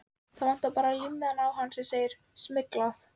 Það vantar bara límmiðann á hann sem segir SMYGLAÐ.